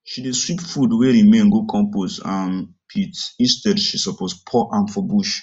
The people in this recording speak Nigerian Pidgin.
she dey sweep food wey remain go compost um pit instead she suppose pour am for bush